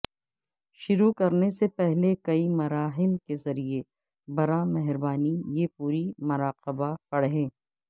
شروع کرنے سے پہلے کئی مراحل کے ذریعے براہ مہربانی یہ پوری مراقبہ پڑھیں